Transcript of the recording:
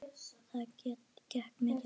Já, það gekk mikið á.